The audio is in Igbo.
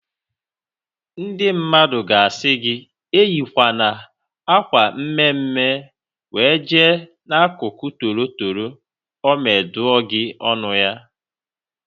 Ndị mmadụ ga-asị gị eyikwana akwa mme mme wee jee n'akụkụ toro toro ọme dụọ gị ọnụ ya